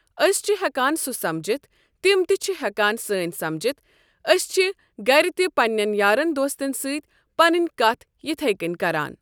أسۍ چھ ہٮ۪کان سہ سَمجِتھ تِم تہِ چھِ ہٮ۪کان سٲنۍ سَٕجِتھ أسۍ چھِ گرِ تہِ پنٛنٮ۪ن یارن دوستن سۭتۍ پنٕنۍ کتھ یتھےکٔنۍ کران۔